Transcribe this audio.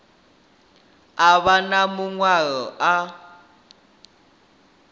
a vha na maṅwalo a